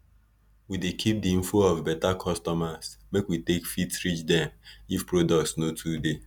we dey keep di info of beta customers make we take fit reach dem if products no too dey